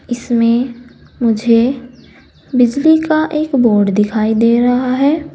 इसमें मुझे बिजली का एक बोर्ड दिखाई दे रहा है।